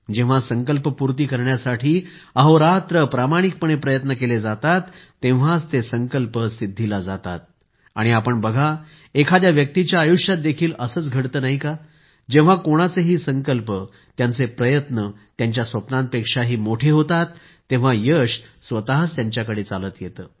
जेव्हा संकल्पपूर्ती करण्यासाठी अहोरात्र प्रामाणिकपणे प्रयत्न केले जातात तेव्हाच ते संकल्प खरे होतात आणि आपण बघा एखाद्या व्यक्तीच्या आयुष्यात देखील असेच घडते नाही का जेव्हा कोणाचेही संकल्प त्यांचे प्रयत्न त्यांच्या स्वप्नांपेक्षाही मोठे होतात तेव्हा यश स्वतःच त्यांच्याकडे चालत येते